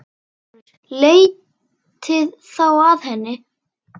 LÁRUS: Leitið þá að henni.